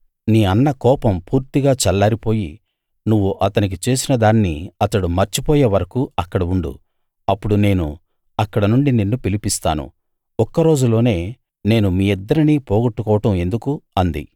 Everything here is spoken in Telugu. నీ అన్న కోపం పూర్తిగా చల్లారిపోయి నువ్వు అతనికి చేసిన దాన్ని అతడు మర్చిపోయే వరకూ అక్కడ ఉండు అప్పుడు నేను అక్కడనుండి నిన్ను పిలిపిస్తాను ఒక్క రోజులోనే నేను మీ ఇద్దరినీ పోగొట్టుకోవడం ఎందుకు అంది